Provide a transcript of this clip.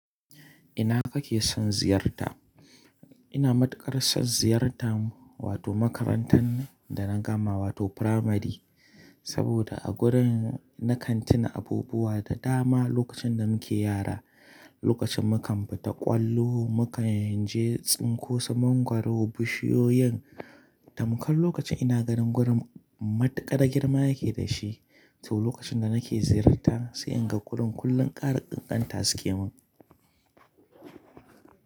Ina kake son ziyarta? Ina matukar son ziyartan wato makarantan da na gama wato firamari. Saboda a gurin na kan tuna abubuwa da dama lokacin da muke yara. Lokacin mu kan fita ƙwallo, mu kan je tsinko su mangwaro, bishiyoyin. Tamkar lokacin ina ganin gurin matuƙar girma ya ke da shi. To lokacin da nake ziyarta sai in ga gurin kullum ƙara ƙanƙanta suke mun.